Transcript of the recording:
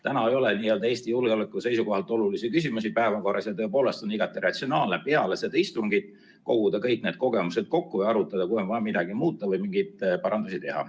Täna ei ole Eesti julgeoleku seisukohalt olulisi küsimusi päevakorras ja tõepoolest on igati ratsionaalne peale seda istungit koguda kõik need kogemused kokku ja arutada, kui on vaja midagi muuta, mingeid parandusi teha.